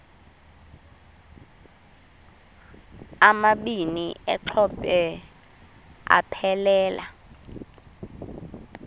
amabini exhobe aphelela